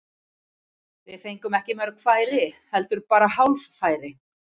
Við fengum ekki mörg færi, heldur bara hálffæri.